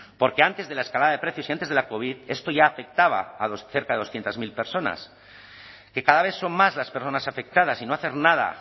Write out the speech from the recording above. porque antes de la escalada de precios y antes de la covid esto ya afectaba a cerca de doscientos mil personas que cada vez son más las personas afectadas y no hacer nada